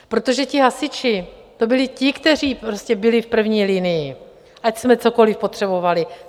Protože ti hasiči, to byli ti, kteří prostě byli v první linii, ať jsme cokoli potřebovali.